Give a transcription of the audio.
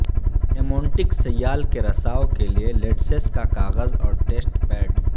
amniotic سیال کے رساو کے لئے لٹسس کا کاغذ اور ٹیسٹ پیڈ